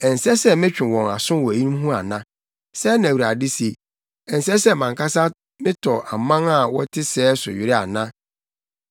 Ɛnsɛ sɛ metwe wɔn aso wɔ eyinom ho ana?” Sɛɛ na Awurade se. “Ɛnsɛ sɛ, mʼankasa metɔ ɔman a ɛte sɛɛ so were ana?